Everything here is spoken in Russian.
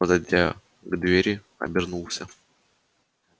подойдя к двери обернулся